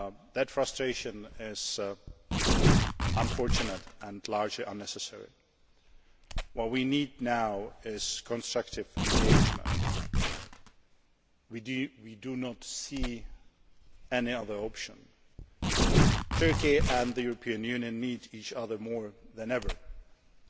that frustration is unfortunate and largely unnecessary. What we need now is constructive engagement we do not see any other option. Turkey and the European Union need each other more